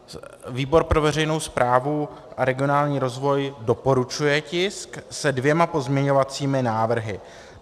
Výbor pro veřejnou správu a regionální rozvoj doporučuje tisk se dvěma pozměňovacími návrhy.